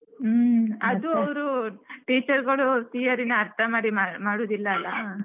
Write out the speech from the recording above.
ಅವ್ರು teacher ಗಳು theory ನ ಅರ್ಥಮಾಡಿ ಮಾಡುದಿಲ್ಲಲ್ಲ.